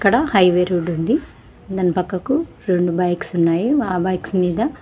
ఇక్కడ highway road ఉంది. దాని పక్కకు రొండు బైక్స్ ఉన్నాయి. ఆ బైక్స్ మీద--.